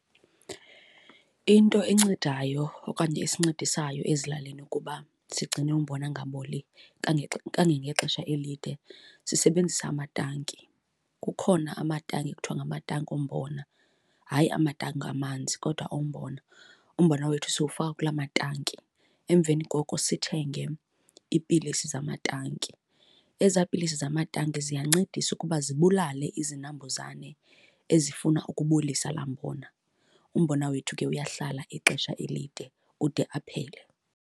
Into encedayo okanye esincedisayo ezilalini ukuba sigcine umbona ungaboli kangangexesha elide, sisebenzisa amatanki. Kukhona amatanki ekuthiwa ngamatanki ombona, hayi amatanki amanzi kodwa ombona. Umbona wethu siwufaka kulaa matanki, emveni koko sithenge iipilisi zamatanki. Ezaa pilisi zamatanki ziyancedisa ukuba zibulale izinambuzane ezifuna ukubolisa laa mbona. Umbona wethu ke uyahlala ixesha elide ude aphele.